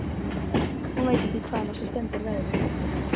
Hún veit ekki hvaðan á sig stendur veðrið.